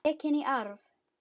Tekin í arf.